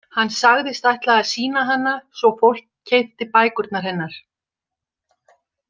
Hann sagðist ætla að sýna hana svo fólk keypti bækurnar hennar.